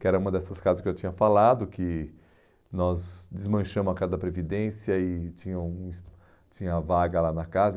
que era uma dessas casas que eu tinha falado, que nós desmanchamos a Casa da Previdência e tinha uns tinha vaga lá na casa.